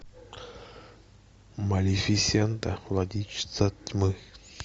малефисента владычица тьмы